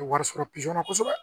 Wari sɔrɔ na kosɛbɛ